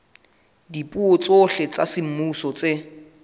dipuo tsohle tsa semmuso tse